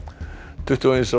tuttugu og eins árs